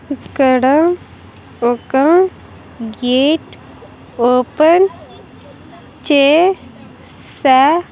ఇక్కడ ఒక gate open చే సా--